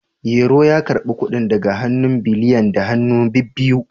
Yero ya karbi kudin daga hannun Biliyan da hannu bibbiyu